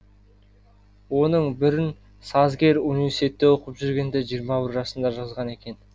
оның бірін сазгер университетте оқып жүргенде жиырма бір жасында жазған екен